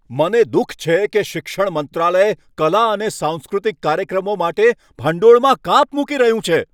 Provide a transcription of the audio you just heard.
મને દુઃખ છે કે શિક્ષણ મંત્રાલય કલા અને સાંસ્કૃતિક કાર્યક્રમો માટે ભંડોળમાં કાપ મૂકી રહ્યું છે.